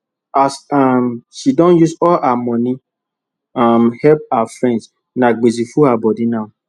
as um she don use all her money um help her friends na gbese full her body now